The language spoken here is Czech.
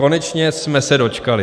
Konečně jsme se dočkali.